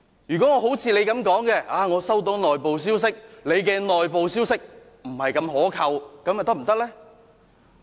如果我效法他，說我收到內部消息，指他的內部消息並非太可靠。